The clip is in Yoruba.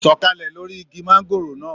Sọ̀kàlẹ̀ lóri igi mangòrò náà!